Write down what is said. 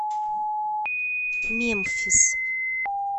мемфис